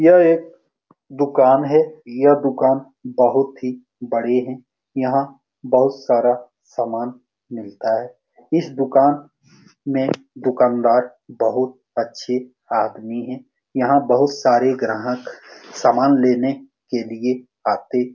यह एक दुकान है यह दुकान बहोत ही बड़ी है यहाँ बहुत सारा सामान मिलता है इस दुकान में दुकानदार बहुत अच्छे आदमी है यहाँ बहुत सारे ग्राहक सामान लेने के लिए आते --